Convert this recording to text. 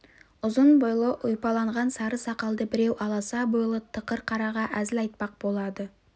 ұзын бойлы ұйпаланған сары сақалды біреу аласа бойлы тықыр қараға әзіл айтпақ болады